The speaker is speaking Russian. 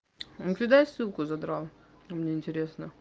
кидай ссылку задрал мне интересно